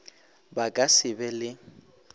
ba ka se be le